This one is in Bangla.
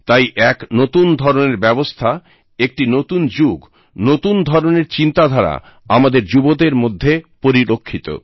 তাই এক নতুন ধরনের ব্যবস্থা একটি নতুন যুগ নতুন ধরনের চিন্তাধারা আমাদের যুবদের মধ্যে পরিলক্ষিত